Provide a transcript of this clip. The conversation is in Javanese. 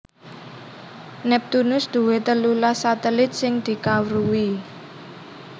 Neptunus duwé telulas satelit sing dikawruhi